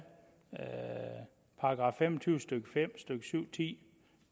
§ fem og tyve stykke fem og stykke syv ti